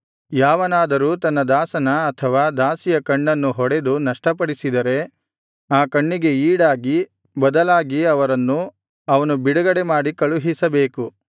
ಯಾವನಾದರೂ ತನ್ನ ದಾಸನ ಅಥವಾ ದಾಸಿಯ ಕಣ್ಣನ್ನು ಹೊಡೆದು ನಷ್ಟಪಡಿಸಿದರೆ ಆ ಕಣ್ಣಿಗೆ ಈಡಾಗಿ ಬದಲಾಗಿ ಅವರನ್ನು ಅವನು ಬಿಡುಗಡೆಮಾಡಿ ಕಳುಹಿಸಬೇಕು